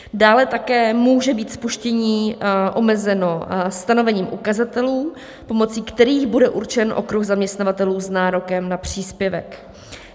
Dále také může být spuštění omezeno stanovením ukazatelů, pomocí kterých bude určen okruh zaměstnavatelů s nárokem na příspěvek.